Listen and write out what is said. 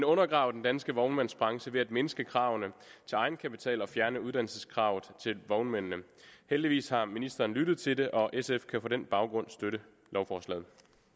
undergrave den danske vognmandsbranche ved at mindske kravene til egenkapital og fjerne uddannelseskravet til vognmændene heldigvis har ministeren lyttet til det og sf kan på den baggrund støtte lovforslaget